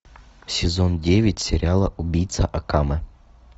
сезон девять сериала убийца акаме